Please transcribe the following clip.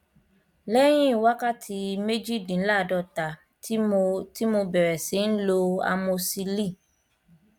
lẹyìn wákàtí méjìdínláàádọta tí mo tí mo bẹrẹ sí í lo amosíìlì